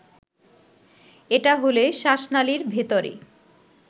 এটা হলে শ্বাসনালীর ভেতরে